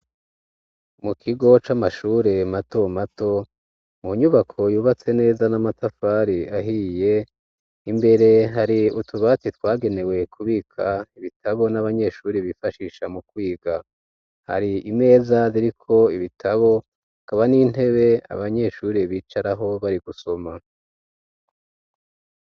Mu kigo c'amashure mato mato, mu nyubako yubatse neza n'amatafari ahiye, imbere hari utubatsi twagenewe kubika ibitabo n'abanyeshuri bifashisha mu kwiga ,hari imeza ziriko ibitabo ,kaba n'intebe abanyeshuri bicaraho bari gusoma